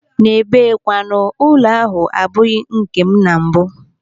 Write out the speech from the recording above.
N'ebe kwanu, ụlọ ahụ abụghị nkem na mbụ.